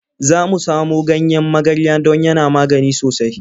Za mu samo ganyen magarya don yana magani sosai.